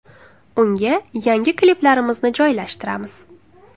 Unga yangi kliplarimizni joylashtiramiz.